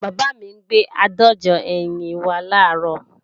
Bàbá mi gbé àádọ́jọ ẹyin wá làárọ̀